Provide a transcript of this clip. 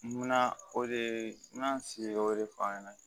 Munna o de ye n ka n sigi o de fɔ an ɲɛna